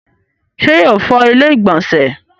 ṣé yóò fọ ilẹ́ ìgbọ̀nsẹ̀